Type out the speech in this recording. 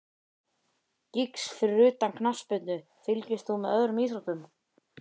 Giggs Fyrir utan knattspyrnu, fylgist þú með öðrum íþróttum?